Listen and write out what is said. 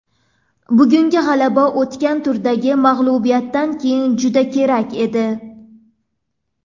Bugungi g‘alaba o‘tgan turdagi mag‘lubiyatdan keyin juda kerak edi.